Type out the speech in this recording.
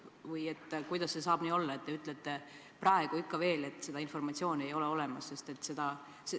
Või kuidas saab olla nii, et te ütlete ikka veel, et seda informatsiooni ei ole olemas?